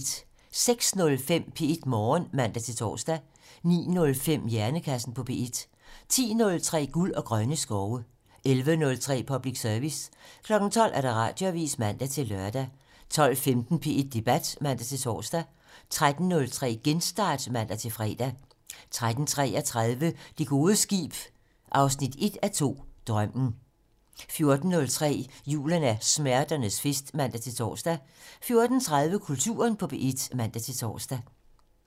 06:05: P1 Morgen (man-tor) 09:05: Hjernekassen på P1 10:03: Guld og grønne skove 11:03: Public Service 12:00: Radioavisen (man-lør) 12:15: P1 Debat (man-tor) 13:03: Genstart (man-fre) 13:33: Det gode skib 1:2 - Drømmen 14:03: Julen er smerternes fest (man-tor) 14:30: Kulturen på P1 (man-tor)